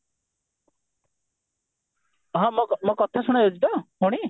ହଁ ମୋ ମୋ କଥା ଶୁଣାଯାଉଛି ତ ଭଉଣୀ